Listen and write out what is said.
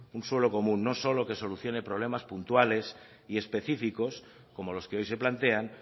un suelo común no solo que solucione problemas puntuales y específicos como los que hoy se plantean